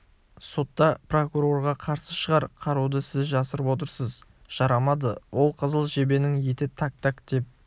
сотта прокурорға қарсы шығар қаруды сіз жасырып отырсыз жарамады ол қызыл жебенің еті так так деп